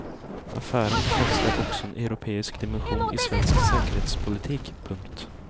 Affären befäster också en europeisk dimension i svensk säkerhetspolitik. punkt